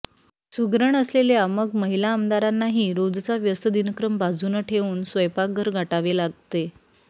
सुगरण असलेल्या मग महिला आमदारांनाही रोजचा व्यस्त दिनक्रम बाजून ठेवून स्वयंपाकघर गाठावे लागते